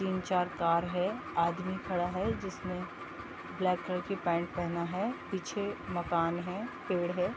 तीन-चार कार है आदमी खड़ा है जिसने ब्लैक कलर की पैंट पहना है पीछे मकान है पेड़ है।